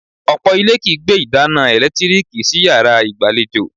Ọ̀pọ̀ ilé kìí gbé ìdáná ẹ̀lẹ́tíríìkì sí yàrá ìgbàlejò